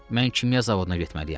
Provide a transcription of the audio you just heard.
Mən kimya zavoduna getməliyəm.